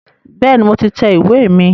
Bẹ́ẹ̀ni, mo ti tẹ ìwé mi